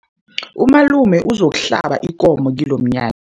Umalume uzokuhlaba ikomo kilomnya